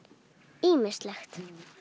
ýmislegt